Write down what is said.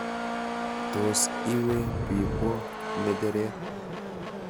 Tos iwe biibwo ng'echeret?